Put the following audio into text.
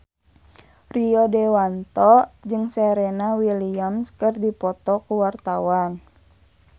Rio Dewanto jeung Serena Williams keur dipoto ku wartawan